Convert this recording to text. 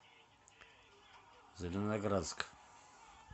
зеленоградск